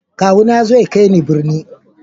Kawu na ya zo ya kai ni birni.